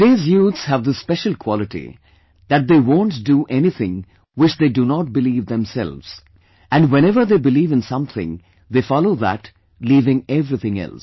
Today's youths have this special quality that they won't do anything which they do not believe themselves and whenever they believe in something, they follow that leaving everything else